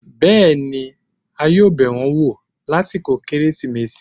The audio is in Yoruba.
bẹẹni, a yoo bẹ wọn wọ lasikọ keresimesi